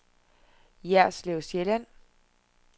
Jerslev Sjælland